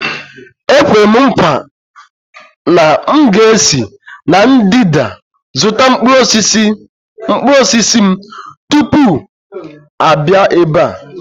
Ekwere m nkwa na m ga-esi na ndịda zụta mkpụrụ osisi m tupu m abịa ebe a.